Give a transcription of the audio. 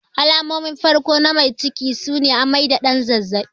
Alamomin farko na mai ciki sune amai da ɗan zazzabi.